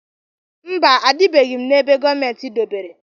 Mba, ebibeghị m n'ebe gọọmentị dobere.